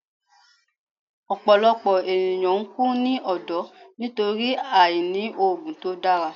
Ọpọlọpọ eniyan n ku ni ọdọ nitori aini oogun to dara